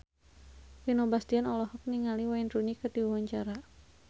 Vino Bastian olohok ningali Wayne Rooney keur diwawancara